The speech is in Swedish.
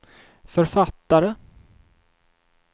författare